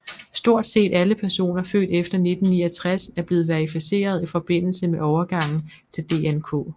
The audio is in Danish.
Stort set alle personer født efter 1969 er blevet verificeret i forbindelse med overgangen til DNK